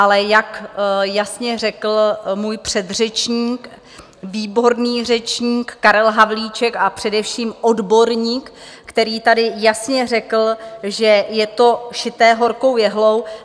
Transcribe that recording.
Ale jak jasně řekl můj předřečník, výborný řečník Karel Havlíček a především odborník, který tady jasně řekl, že je to šité horkou jehlou.